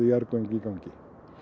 jarðgöng í gangi